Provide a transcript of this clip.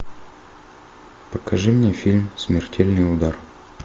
покажи мне фильм смертельный удар